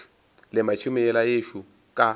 lema tšhemo yela yešo ka